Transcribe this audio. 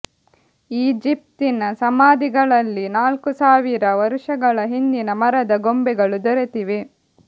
ಈಜಿಪ್ತಿನ ಸಮಾಧಿಗಳಲ್ಲಿ ನಾಲ್ಕು ಸಾವಿರ ವರುಷಗಳ ಹಿಂದಿನ ಮರದ ಗೊಂಬೆಗಳು ದೊರೆತಿವೆ